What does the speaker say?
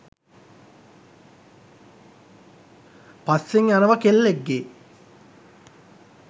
පස්සෙන් යනවා කෙල්ලෙක්ගේ